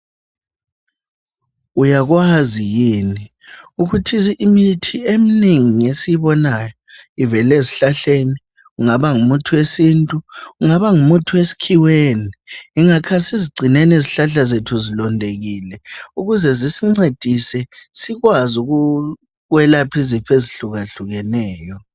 Uyakwazi yini ukuthi imithi eminengi ngesiyibona ivela ezihlahleni kungaba ngumuthi wesintu ungaba ngumuthi wesikhiweni yingakho asizigcineni izihlahla zethu zilondekile ukuze zisincedise sikwazi ukwelapha izifo ezihlukahlukeneyo.